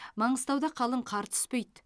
маңғыстауда қалың қар түспейді